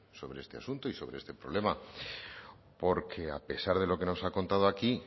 sobre este asunto y sobre este problema porque a pesar de lo que nos ha contado aquí